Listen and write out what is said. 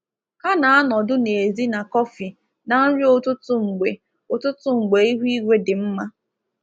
Ha na-anọdụ n’èzí na kọfị na nri ụtụtụ mgbe ụtụtụ mgbe ihu igwe dị mma.